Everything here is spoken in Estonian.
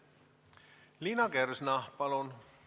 Liina Kersna, palun!